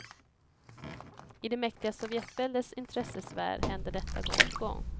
I det mäktiga sovjetväldets intressesfär hände detta gång på gång.